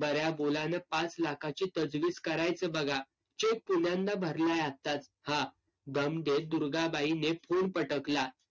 बऱ्या बोलानं पाच लाखाची तजवीज करायचं बघा. cheque पुण्यांदा भरलाय आत्ताच. हा. दम देत दुर्गाबाई ने phone पटकला.